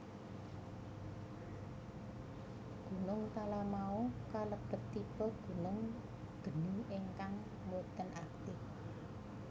Gunung Talamau kalebet tipe gunung geni ingkang boten aktip